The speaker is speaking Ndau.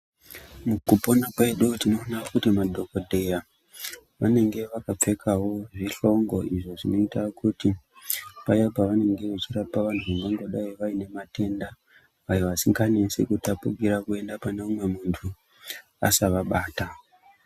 Mukupona kwedu tinoona kuti madhokodheya anenge akapfekawo zvihlongo izvo zvinoita kuti paya pavanenge veirapa vantu vane matenda asinganesi kutapukira kuenda pane mumwe muntu asavabata.